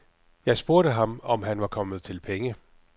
Jeg spurgte ham, om han var kommet til penge.